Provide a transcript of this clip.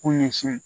Kun ɲɛsin